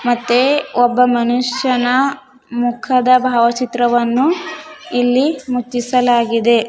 ಮತ್ತೆ ಒಬ್ಬ ಮನುಷ್ಯನ ಮುಖದ ಭಾವಚಿತ್ರವನ್ನು ಇಲ್ಲಿ ಮುಚ್ಚಿಸಲಾಗಿದೆ.